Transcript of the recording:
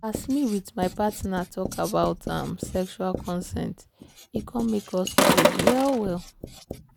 as me with my partner talk about um sexual consent e come make us close well well.